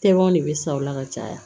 Tɛmɛnw ne bɛ sa o la ka caya